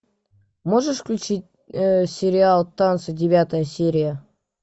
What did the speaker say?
можешь включить сериал танцы девятая серия